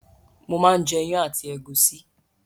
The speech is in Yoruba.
Mò máa ń jẹ iyán àti ẹ̀gúsí